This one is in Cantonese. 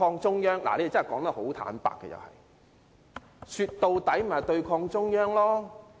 他們其實很坦白，說到底就是對抗中央。